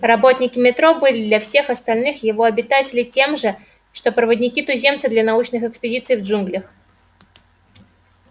работники метро были для всех остальных его обитателей тем же что проводники-туземцы для научных экспедиций в джунглях